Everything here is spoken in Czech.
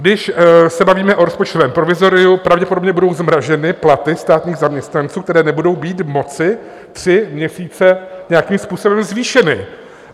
Když se bavíme o rozpočtovém provizoriu, pravděpodobně budou zmrazeny platy státních zaměstnanců, které nebudou být moci tři měsíce nějakým způsobem zvýšeny.